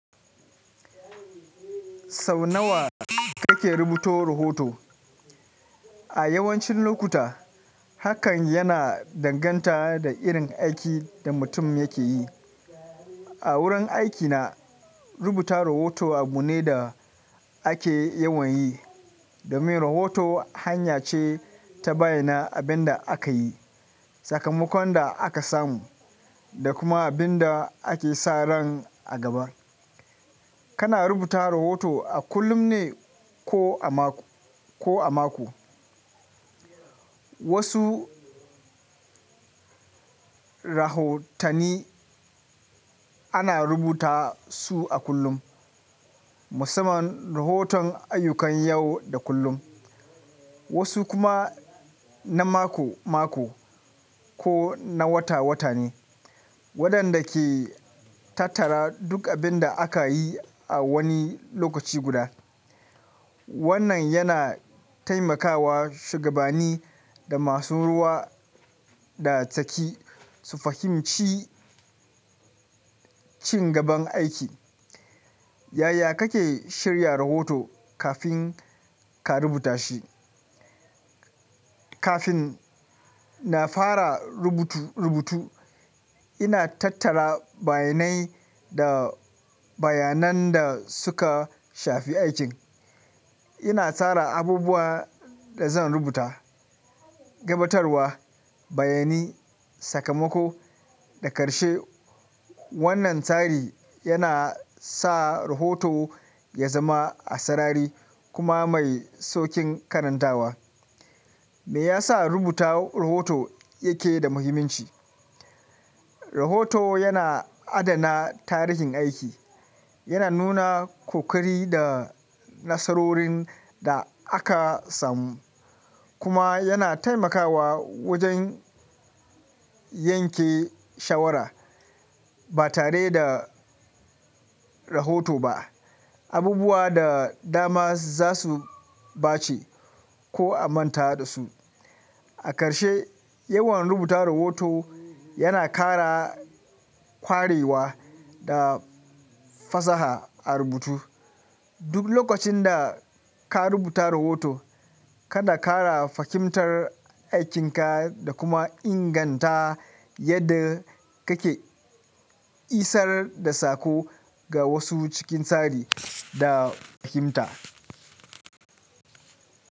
Sau nawa kake rubuto rahoto? A yawancin lokuta, hakan yana danganta da irin aikin da mutum yake yi. A wurin aikina, rubuta rohoto abu ne da ake yawan yi, domin rohoto hanya ce ta bayyana abin da aka yi, sakamakon da aka samu, da kuma abin da ake sa ran a gaba. Kana rubuta rohoto a kullum ne ko a mako? Wasu rahotanni ana rubuta su a kullum, musamman rahoton ayyukan yau da kullum. Wasu kuma na mako-mako ko na wata-wata ne, waɗanda ke tattara duk abin da aka yi a wani lokaci guda. Wannan yana taimakawa shugabanni da masu ruwa da tsaki su fahimci ci gaban aiki. Yaya kake shirya rohoto kafin ka rubuta shi? Kafin na fara rubutu, ina tattara bayanai da bayanan da suka shafi aikin. Ina tsara abubuwan da zan rubuta: gabatarwa, bayani, sakamako, da ƙarshe. Wannan tsari yana sa rohoto ya zama asarari kuma mai sauƙin karantawa. Me yasa rubuta rohoto yake da muhimmanci? Rohoto yana adana tarihin aiki. Yana nuna ƙoƙari da nasarorin da aka samu, kuma yana taimakawa wajen yanke shawara. Ba tare da rohoto ba, abubuwa da dama za su ɓace ko a manta da su. A ƙarshe, yawan rubuta rohoto yana ƙara ƙwarewa da fasaha a rubutu. Duk lokacin da ka rubuta rohoto, kana ƙara fahimtar aikinka da kuma inganta yadda kake isar da sako ga wasu cikin tsari da fahimta.